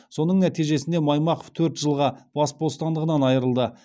соның нәтижесінде маймақов төрт жылға бас бостандығынан айырылды